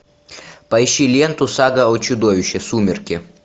поищи ленту сага о чудовище сумерки